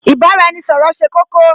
Ì bá-ra-ẹni-ṣọ̀rọ̀ ṣe kókó